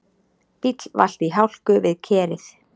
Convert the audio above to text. Bíll valt í hálku við Kerið